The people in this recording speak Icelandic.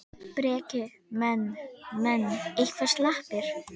Breki: Menn, menn eitthvað slappir?